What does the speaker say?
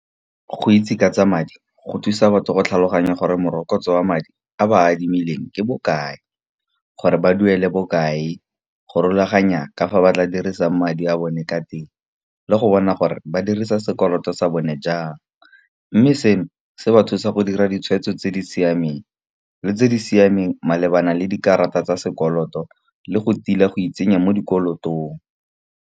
Go itse ka tsa madi go thusa batho go tlhaloganya gore morokotso wa madi a ba a adimileng ke bokae. Gore ba duele bokae, go rulaganya ka fa ba tla dirisang madi a bone ka teng, le go bona gore ba dirisa sekoloto sa bone jang. Mme seno se ba thusa go dira ditshwetso tse di siameng le tse di siameng malebana le dikarata tsa sekoloto, le go tila go itsenya mo dikolotong.